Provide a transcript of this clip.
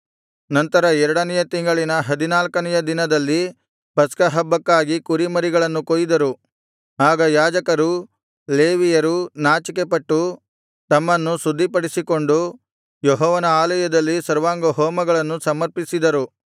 ನಂತರ ಎರಡನೆಯ ತಿಂಗಳಿನ ಹದಿನಾಲ್ಕನೆಯ ದಿನದಲ್ಲಿ ಪಸ್ಕಹಬ್ಬಕ್ಕಾಗಿ ಕುರಿಮರಿಗಳನ್ನು ಕೊಯ್ದರುಆಗ ಯಾಜಕರೂ ಲೇವಿಯರೂ ನಾಚಿಕೆಪಟ್ಟು ತಮ್ಮನ್ನು ಶುದ್ಧಿಪಡಿಸಿಕೊಂಡು ಯೆಹೋವನ ಆಲಯದಲ್ಲಿ ಸರ್ವಾಂಗಹೋಮಗಳನ್ನ ಸಮರ್ಪಿಸಿದರು